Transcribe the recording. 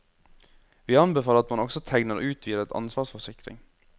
Vi anbefaler at man også tegner utvidet ansvarsforsikring.